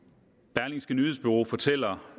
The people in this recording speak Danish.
berlingske nyhedsbureau fortæller